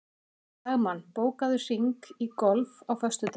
Dagmann, bókaðu hring í golf á föstudaginn.